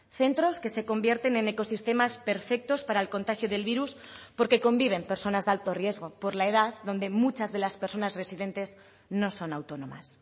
centros que se convierten en ecosistemas perfectos para el contagio del virus porque conviven personas de alto riesgo por la edad donde muchas de las personas residentes no son autónomas